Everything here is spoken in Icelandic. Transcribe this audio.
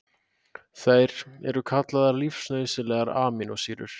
Þær eru kallaðar lífsnauðsynlegar amínósýrur.